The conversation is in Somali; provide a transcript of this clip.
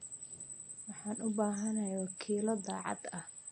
Waxaan u baahanahay wakiilo daacad ah.